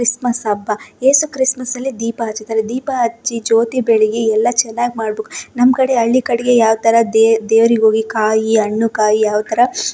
Christmas ಹಬ್ಬ ಯೇಸು ಕ್ರಿಸ್ಮಸಲ್ಲಿ ದೀಪ ಹಚ್ತಾರೆ ದಿಪ ಹಚ್ಚಿ ಜ್ಯೊತಿ ಬೆಳಗಿ ಎಲ್ಲಾ ಚೆನ್ನಾಗ ಮಾಡಬೆಕು ನಮ್ಮ ಕಡೆ ಹಳ್ಳಿ ಕಡೆ ಯಾವಥರ ದೆ ದೆವರ ಹೊಗಿ ಕಾಯಿ ಹಣ್ಣು ಕಾಯಿ ಎಲ್ಲಾ --